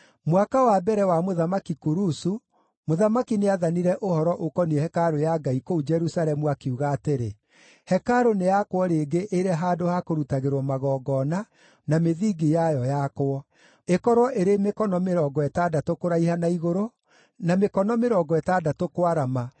Mwaka wa mbere wa Mũthamaki Kurusu, mũthamaki nĩathanire ũhoro ũkoniĩ hekarũ ya Ngai kũu Jerusalemu, akiuga atĩrĩ: Hekarũ nĩyakwo rĩngĩ ĩrĩ handũ ha kũrutagĩrwo magongona, na mĩthingi yayo yakwo. Ĩkorwo ĩrĩ mĩkono mĩrongo ĩtandatũ kũraiha na igũrũ, na mĩkono mĩrongo ĩtandatũ kwarama,